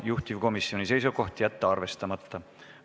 Juhtivkomisjoni seisukoht on jätta see arvestamata.